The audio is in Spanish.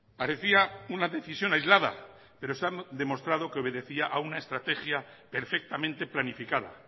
parecía una decisión aislada pero se han demostrado que obedecía a una estrategia perfectamente planificada